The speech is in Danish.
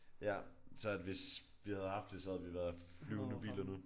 Ja så at hvis vi havde haft det så havde vi været flyvende biler nu